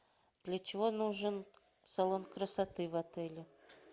для чего нужен салон красоты в отеле